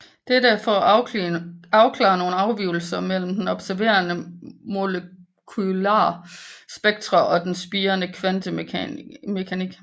Dette for at afklare nogle afvigelser mellem observerede molekular spektre og den spirende kvantemekanik